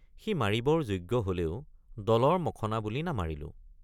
সি মাৰিবৰ যোগ্য হলেও দলৰ মখনা বুলি নামাৰিলোঁ।